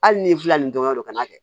Hali n'i filɛ nin dɔrɔn kana kɛ